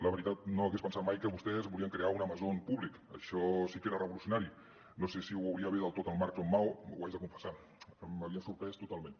la veritat no hagués pensat mai que vostès volien crear un amazon públic això sí que era revolucionari no sé si ho veurien bé del tot en marx o en mao ho haig de confessar m’havien sorprès totalment